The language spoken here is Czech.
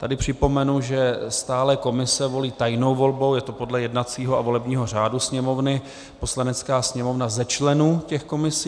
Tady připomenu, že stálé komise volí tajnou volbou, je to podle jednacího a volebního řádu Sněmovny, Poslanecká sněmovna ze členů těch komisí.